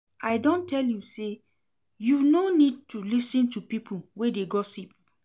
I don tell you sey you no need to lis ten to pipo wey dey gossip.